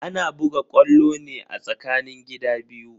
Ana buga ƙwallo ne a tsakanin gida biyu.